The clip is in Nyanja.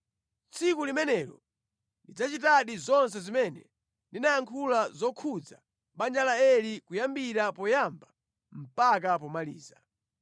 Tsiku limenelo ndidzachitadi zonse zimene ndinayankhula zokhudza banja la Eli kuyambira poyamba mpaka pomaliza.